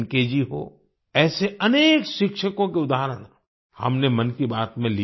जी हों ऐसे अनेक शिक्षकों के उदाहरण हमने मन की बात में लिये हैं